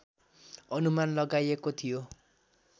अनुमान लगाइएको थियो